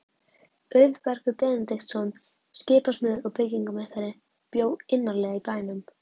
Auðbergur Benediktsson, skipasmiður og byggingarmeistari, bjó innarlega í bænum.